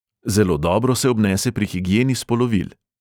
Zelo dobro se obnese pri higieni spolovil.